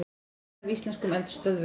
Snið af íslenskum eldstöðvum.